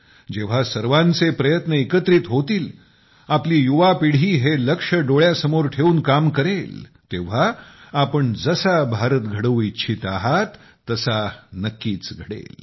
जेव्हा सर्वांचे प्रयत्न एकत्रित होतील आपली युवा पिढी हे लक्ष्य समोर ठेवून काम करेल तेव्हा आपण जसा भारत घडवू इच्छित आहात तसा नक्कीच घडेल